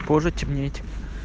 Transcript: позже темнеть